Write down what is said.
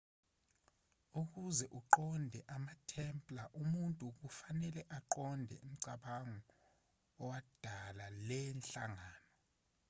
ukuze uqonde amatemplar umuntu kufanele aqonde umcabango owadala le nhlangano